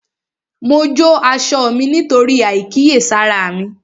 Mo jó aṣọ mí nítorí àìkíyèsára mi